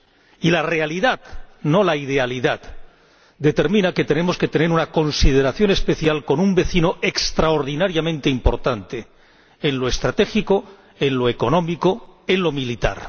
y la realidad —no la idealidad— determina que tenemos que tener una consideración especial con un vecino extraordinariamente importante en lo estratégico, en lo económico, en lo militar.